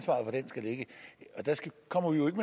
kommer jo ikke